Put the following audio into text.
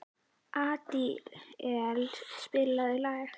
Adíel, spilaðu lag.